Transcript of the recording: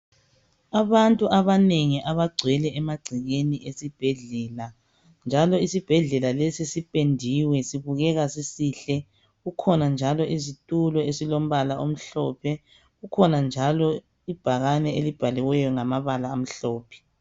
Abantu abanengi abagcwele emagcekeni esibhedlela njalo isibhedlela lesi sipendiwe sibukeka sisihle. Kukhona njalo isitulo esilombala omhlophe kukhona njalo ibhakane elibhaliweyo ngamabala amhlophe.